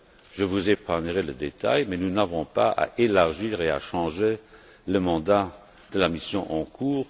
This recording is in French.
Je vous épargnerai les détails, mais nous n'avons pas à élargir et à changer le mandat de la mission en cours.